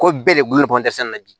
Ko bɛɛ de gulolen don sɛnɛ na bi